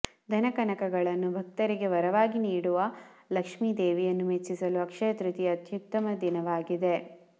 ಧನಕನಕಗಳನ್ನು ಭಕ್ತರಿಗೆ ವರವಾಗಿ ನೀಡುವ ಲಕ್ಷ್ಮೀ ದೇವಿಯನ್ನು ಮೆಚ್ಚಿಸಲು ಅಕ್ಷಯ ತೃತೀಯ ಅತ್ಯುತ್ತಮ ದಿನವಾಗಿದೆ